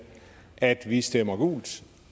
at vi stemmer gult